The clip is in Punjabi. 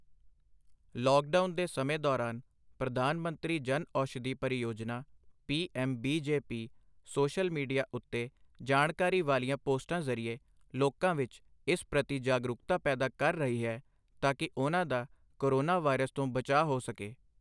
ਲੌਕਡਾਊਨ ਦੇ ਸਮੇਂ ਦੌਰਾਨ ਪ੍ਰਧਾਨ ਮੰਤਰੀ ਜਨ ਔਸ਼ਧੀ ਪਰਿਯੋਜਨਾ ਪੀਐੱਮ ਬੀਜੇਪੀ ਸੋਸ਼ਲ ਮੀਡੀਆ ਉੱਤੇ ਜਾਣਕਾਰੀ ਵਾਲੀਆਂ ਪੋਸਟਾਂ ਜ਼ਰੀਏ ਲੋਕਾਂ ਵਿੱਚ ਇਸ ਪ੍ਰਤੀ ਜਾਗਰੂਕਤਾ ਪੈਦਾ ਕਰ ਰਹੀ ਹੈ ਤਾਕੀ ਉਨ੍ਹਾਂ ਦਾ ਕੋਰੋਨਾਵਾਇਰਸ ਤੋਂ ਬਚਾਅ ਹੋ ਸਕੇ।